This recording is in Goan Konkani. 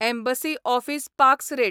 एम्बसी ऑफीस पाक्स रेट